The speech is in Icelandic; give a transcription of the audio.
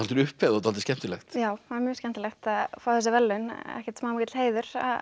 upphefð og dálítið skemmtilegt já það er mjög skemmtilegt að fá þessi verðlaun ekkert smá mikill heiður